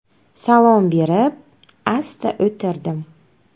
Salom berib, asta o‘tirdim.